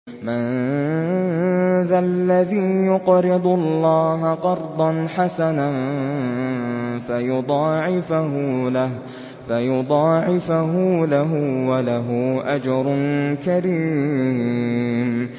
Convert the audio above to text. مَّن ذَا الَّذِي يُقْرِضُ اللَّهَ قَرْضًا حَسَنًا فَيُضَاعِفَهُ لَهُ وَلَهُ أَجْرٌ كَرِيمٌ